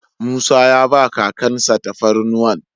Musa ya ba kakan sa tafarnuwan.